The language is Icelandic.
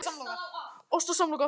Grefur upp sígarettupakkann.